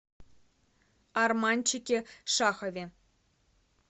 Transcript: арманчике шахове